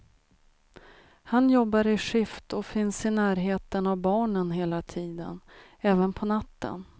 Han jobbar i skift och finns i närheten av barnen hela tiden, även på natten.